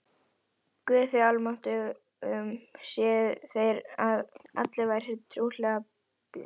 Guði almáttugum séuð þér og allir vær trúlega befalaðir.